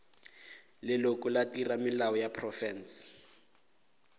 leloko la theramelao ya profense